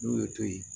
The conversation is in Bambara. N'o ye to ye